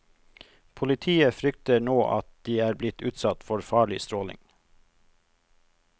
Politiet frykter nå at de er blitt utsatt for farlig stråling.